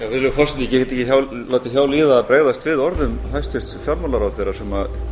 virðulegur forseti ég get ekki látið hjá líða að bregðast við orðum hæstvirts fjármálaráðherra sem